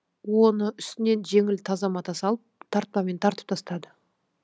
оны үстінен жеңіл таза мата салып тартпамен тартып тастады